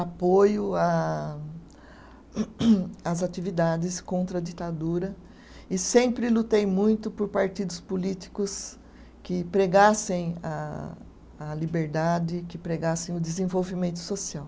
apoio à às atividades contra a ditadura e sempre lutei muito por partidos políticos que pregassem a a liberdade, que pregassem o desenvolvimento social.